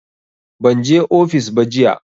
Ban je ofis ba jiya